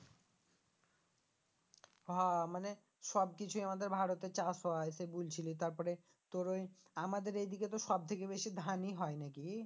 হা মানে সবকিছু আমাদের ভারতে চাষ হয় সে বুলছিলো তারপরে তোর ওই আমাদের এইদিকে তো সব থেকে বেশি ধানই হয় নাকি?